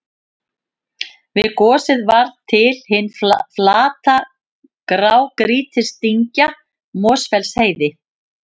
Við gosið varð til hin flata grágrýtisdyngja Mosfellsheiði.